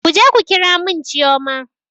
Kuje ku ƙira mun chioma!